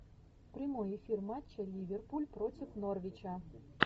прямой эфир матча ливерпуль против норвича